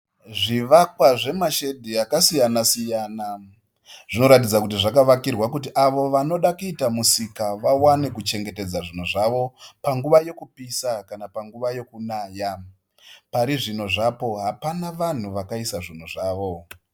Zvivakwa zvemashedhi akasiyana-siyana. Zvinoratidza kuti zvakavakirwa kuti avo vanoda kuita musika vawane kuchengetedza zvinhu zvavo panguva yekupisa kana yekunaya. Parizvino zvapo, hapana vanhu vakaisa zvinhu zvavo.